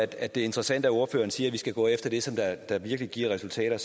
det er interessant at ordføreren siger at vi skal gå efter det som virkelig giver resultater